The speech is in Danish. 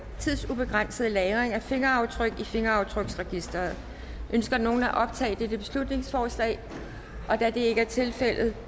tidsubegrænset lagring af fingeraftryk i fingeraftryksregisteret ønsker nogen at optage dette beslutningsforslag da det ikke er tilfældet